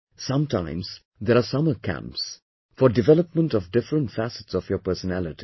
Sometimes there are summer camps, for development of different facets of your personality